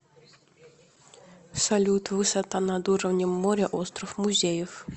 салют высота над уровнем моря остров музеев